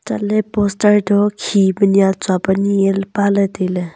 chat ley poster toh khi peh nia tsua pe ni e pa ley tai ley.